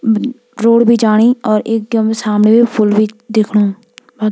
म-अ रोड भी जाणी और एकदम सामने फूल भी दिख्णु।